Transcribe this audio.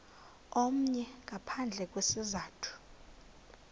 omnye ngaphandle kwesizathu